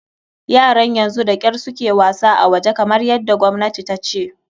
Yaran yanzu da kyar su ke wasa a waje, kamar yadda gwamnati ta ce.